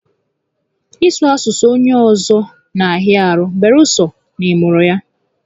Ị sụ asụsụ onye ọzọ na a hịa ahụ beere sọ na ị mụrụ ya